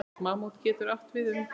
Mammút getur átt við um